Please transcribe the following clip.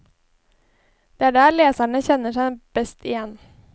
Det er der leserne kjenner seg best igjen.